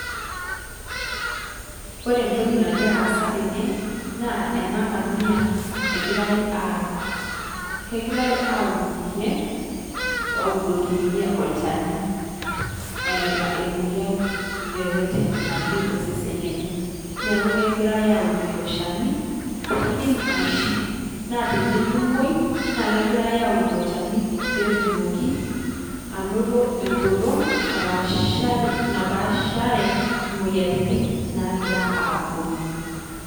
Ore ntokii nagira aasa tenee naa ana kaamia egirai aramaat. Kegirai auud ninyee audoki ninyee olchaani eeta omoiyian yoyeten otii osesen lenyee Naaku kegirai auud loo lchaani pee idiim aishuu. Naa tenememoi naa kegirai auudoki lchaani pee etuumoki enotoo enkoloong' napaashare napaashare moiyiaritin naagira aponuu.